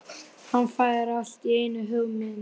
Hann fær allt í einu hugmynd.